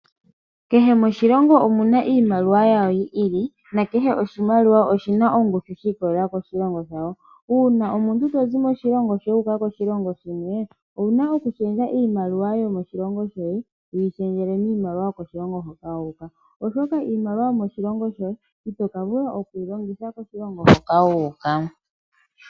Kehe moshilongo omuna iimaliwa yawo yi ili ,no kehe oshimaliwa oshina ongushu shi ikolelela koshilongo . Ngele omuntu tizi moshilongo shoye wu uka koshilonga shalwe, owuna okushendja iimaliwa yo mo shilongo shoye wu yi shendjele miimaliwa yoko shilongo hoka wu uka. Oshoka iimaliwa yomo shilongo shoye ito ka vula okuyi longitha koshilongo shoka wu uka.